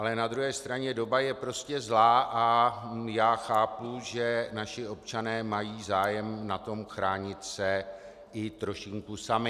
Ale na druhé straně doba je prostě zlá a já chápu, že naši občané mají zájem na tom chránit se i trošinku sami.